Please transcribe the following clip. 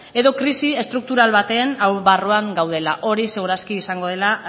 edo krisi estruktural baten barruan gaudela hori seguru aski izango dela